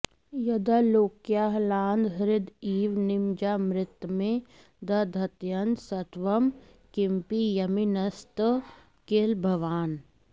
यदालोक्याह्लादं ह्रद इव निमज्यामृतमये दधत्यन्तस्तत्त्वं किमपि यमिनस्तत् किल भवान्